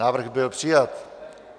Návrh byl přijat.